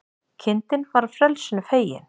Kindin var frelsinu fegin